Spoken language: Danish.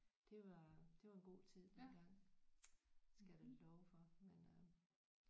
Det var det var en god tid dengang skal jeg da love for men øh